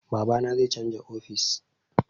Babana zai canza ofis